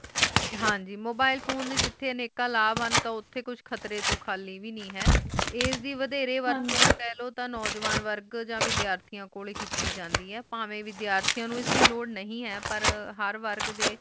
ਹਆਂ ਗ mobile phone ਡੇ ਜਿੱਥੇ ਅਨਿਕ ਲਾਵ ਹਨ ਓਥੈ ਕੁਛ ਖ਼ਤਰੇ ਤੋਂ ਖਾਲੀ ਵੇ ਨੇ ਹੈ ਐਸੀ ਵਡੇਰੇ ਵਰਤੋਂ ਕਹਿ ਲੋ ਤਾਂ ਨੌਜਵਾਨ ਵਰਗ ਆ ਵਿਦਿਆਰਥੀਆਂ ਕੋਲ ਹੈ ਕੀਤੀ ਜਾਂਦੈ ਆਈ ਪਹਨਵੇ ਵਿਦਿਆਰਥੀਆਂ ਨੋ ਐਸ ਦੀ ਲੋੜ ਨੇ ਆਈ ਪਰ ਹੂਰ ਵਰਗ ਡੇ